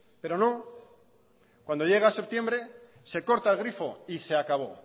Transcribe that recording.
pero no cuando llega septiembre se corta el grifo y se acabó